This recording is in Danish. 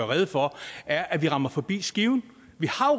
rede for er at vi rammer forbi skiven vi